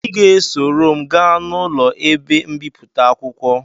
Ị ga-esoro m gaa n'ụlọ ebe mbipụta akwụkwọ